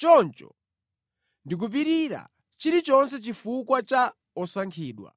Choncho ndikupirira chilichonse chifukwa cha osankhidwa,